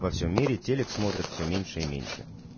во всём мире телик смотрят всё меньше и меньше